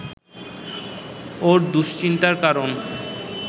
ওর দুশ্চিন্তার কারণ